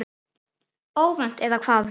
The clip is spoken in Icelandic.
Óvænt, eða hvað?